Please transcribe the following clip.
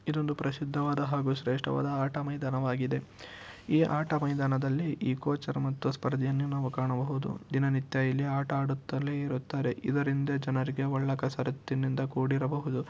ಇದೊಂದು ಪ್ರಸಿದ್ಧವಾದ ಹಾಗು ಶ್ರೇಷ್ಟವಾದ ಆಟ ಮೈದಾನವಾಗಿದೆ. ಈ ಆಟ ಮೈದಾನದಲ್ಲಿ ಈ ಕೋಚರ್ ಮತ್ತು ಸ್ಪರ್ದಿಯನ್ನೆ ನಾವು ಕಾಣಬಹುದು. ದಿನನಿತ್ಯ ಇಲ್ಲಿ ಆಟ ಆಡುತ್ತಲೆ ಇರುತ್ತಾರೆ ಇದರಿಂದ ಜನರಿಗೆ ಒಳ್ಳೆ ಕಸರತ್ತಿನಿಂದ ಕೂಡಿರಬಹುದು.